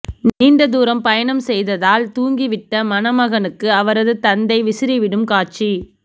நீண்ட தூரம் பயணம் செய்ததால் தூங்கிவிட்ட மணமகனுக்கு அவரது தந்தை விசிறிவிடும் காட்சி